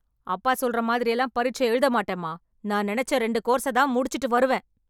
அப்பா சொல்ற மாதிரியெல்லாம் பரிட்சை எழுதமாட்டேன்மா... நான் நெனச்ச ரெண்டு கோர்ஸதான் முடிச்சுட்டு வருவேன்.